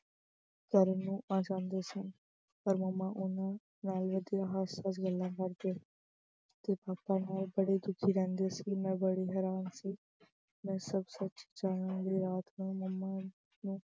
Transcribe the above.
ਕਰਨ ਨੂੰ ਆ ਜਾਂਦੇ ਸਨ ਪਰ mummy ਉਹਨਾਂ ਨਾਲ ਐਦਾਂ ਹੱਸ-ਹੱਸ ਗੱਲਾਂ ਕਰਦੇ ਤੇ papa ਨਾਲ ਬੜੇ ਰੁੱਖੇ ਰਹਿੰਦੇ ਸੀ। ਮੈਂ ਬੜੀ ਹੈਰਾਨ ਸੀ। ਮੈਂ ਸੱਚ-ਸੱਚ ਸੁਣਨ ਲਈ ਰਾਤ ਨੂੰ mummy